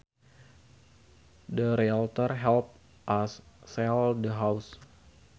The realtor helped us sell the house